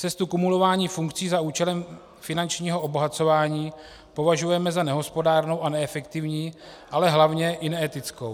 Cestu kumulování funkcí za účelem finančního obohacování považujeme za nehospodárnou a neefektivní, ale hlavně i neetickou.